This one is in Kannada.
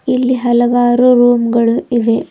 ಇಲ್ಲಿ ಹಲವಾರು ರೂಮ್ ಗಳು ಇವೆ.